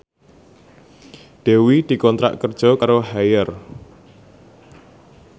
Dewi dikontrak kerja karo Haier